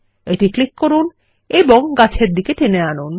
এটি ক্লিক করুন এবং গাছের দিকে টেনে আনুন